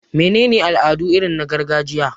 Mene ne al'adu irin na gargajiya?